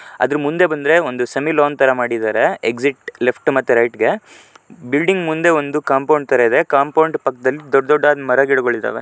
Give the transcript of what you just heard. ಅದರ ಮುಂದೆ ಬಂದರೆ ಒಂದು ಸೆಮಿಲಾನ್ ತರ ಮಾಡಿದರೆ ಎಕ್ಸಿಟ್ ಲೆಫ್ಟು ಮತ್ತೆ ರೈಟ್ ಗೆ ಬಿಲ್ಡಿಂಗ್ ಮುಂದೆ ಒಂದು ಕಾಂಪೌಂಡ್ ತರ ಇದೆ. ಕಾಂಪೌಂಡ್ ಪಕ್ಕದಲ್ಲಿ ದೊಡ್ಡ ದೊಡ್ಡದ್ ಮರ ಗಿಡಗಳು ಇದಾವೆ.